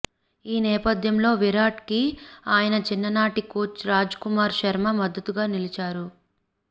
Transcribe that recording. ఈ నేపథ్యంలో విరాట్ కి ఆయన చిన్ననాటి కోచ్ రాజ్ కుమార్ శర్మ మద్దతుగా నిలిచారు